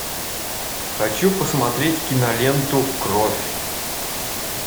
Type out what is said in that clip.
хочу посмотреть киноленту кровь